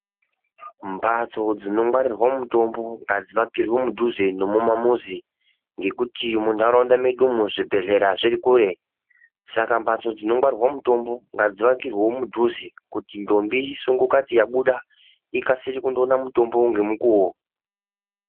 Mbatso dzinongwarirwa mutombo, ngadzivakirwe mudhuze nemamuzi, ngekuti mundarawunda medumo, zvibhedhlera zvirikure. Saka mbatso dzinongwarirwe mutombo ngadzivakirwewo mudhuze, kuti ndombi isongokati yabuda, ikasire kundowona mutombo ngemukuwo.